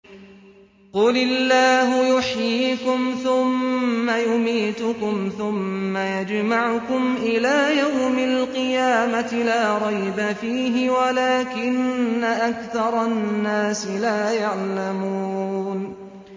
قُلِ اللَّهُ يُحْيِيكُمْ ثُمَّ يُمِيتُكُمْ ثُمَّ يَجْمَعُكُمْ إِلَىٰ يَوْمِ الْقِيَامَةِ لَا رَيْبَ فِيهِ وَلَٰكِنَّ أَكْثَرَ النَّاسِ لَا يَعْلَمُونَ